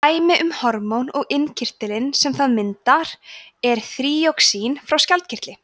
dæmi um hormón og innkirtilinn sem það myndar er þýroxín frá skjaldkirtli